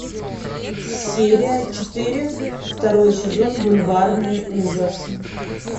серия четыре второй сезон бульварные ужасы